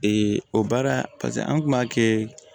o baara an kun b'a kɛ